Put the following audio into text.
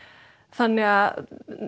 þannig að